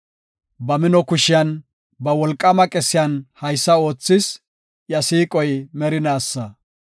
Ba mino kushiyan, ba wolqaama qesiyan haysa oothis; iya siiqoy merinaasa.